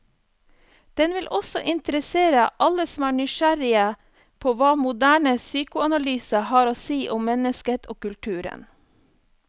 Den vil også interessere alle som er nysgjerrig på hva moderne psykoanalyse har å si om mennesket og kulturen.